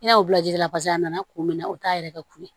I n'a fɔ jida la paseke a nana kun min na o t'a yɛrɛkɛ k'u ye